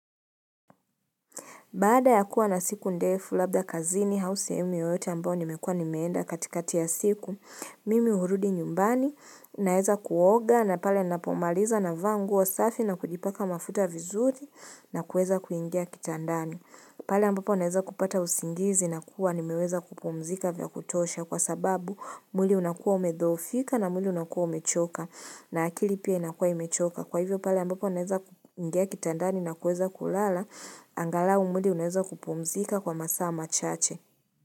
Baada ya kuwa na siku ndefu labda kazini hausemi yoyote ambao nimekua nimeenda katikati ya siku, mimi hurudi nyumbani naeza kuoga na pale napomaliza na vaanguo safi na kujipaka mafuta vizuri na kueza kuingia kitandani. Pale ambapo naweza kupata usingizi na kuwa nimeweza kupumzika vya kutosha kwa sababu mwili unakua umedhofika na mwili unakua umechoka na akili pia inakua imechoka. Kwa hivyo pale ambapo naweza ngea kitandani na kueza kulala, angalau mwili uneza kupumzika kwa masaama chache.